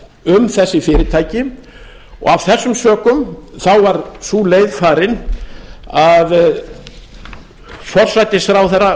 um þessi fyrirtæki og af þessum sökum var sú leið farin að forsætisráðherra